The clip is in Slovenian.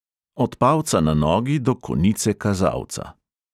Od palca na nogi do konice kazalca.